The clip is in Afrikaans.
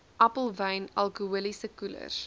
appelwyn alkoholiese koelers